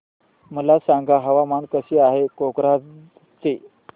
मला सांगा हवामान कसे आहे कोक्राझार चे